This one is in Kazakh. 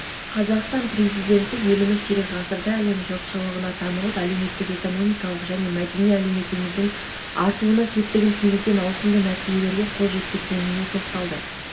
қазақстан президенті еліміз ширек ғасырда әлем жұртшылығына танылып әлеуметтік-экономикалық және мәдени әлеуетіміздің артуына септігін тигізген ауқымды нәтижелерге қол жеткізгеніне тоқталды